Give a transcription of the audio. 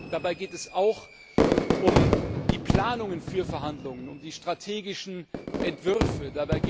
Dabei geht es auch um die Planungen für Verhandlungen, um die strategischen Entwürfe.